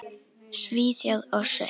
Svíþjóð og Sviss.